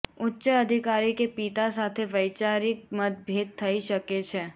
ઉચ્ચ અધિકારી કે પિતા સાથે વૈચારિક મતભેદ થઈ શકે છે